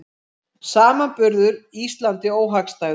Samanburður Íslandi óhagstæður